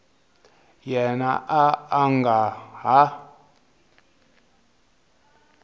yena a a nga ha